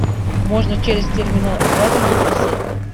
можно через терминал оплаты евросеть